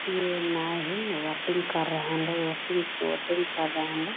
ये नाए हैं बोटिंग कर रहे हैं लोग वोकिंग बोटिंग कर रहे हैं ।